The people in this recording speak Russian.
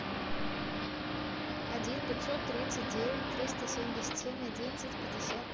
один пятьсот тридцать девять триста семьдесят семь одиннадцать пятьдесят